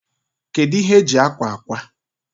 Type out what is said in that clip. Kedu ihe eji akwa akwa?